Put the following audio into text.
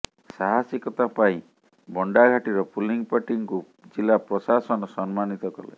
ସାହସିକତା ପାଇଁ ବଣ୍ଡାଘାଟିର ପୁଲିଂପାର୍ଟି ଙ୍କୁ ଜିଲ୍ଲାପ୍ରଶାସନ ସମ୍ମାନିତ କଲେ